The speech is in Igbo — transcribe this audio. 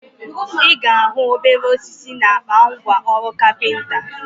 Ị ga ahụ obere osisi na akpa ngwa ọrụ kapịnta